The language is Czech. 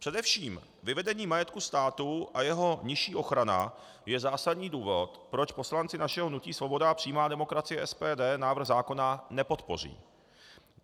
Především vyvedení majetku státu a jeho nižší ochrana je zásadní důvod, proč poslanci našeho hnutí Svoboda a přímá demokracie, SPD, návrh zákona nepodpoří.